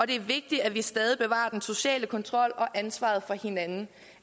det er vigtigt at vi stadig bevarer den sociale kontrol og ansvaret for hinanden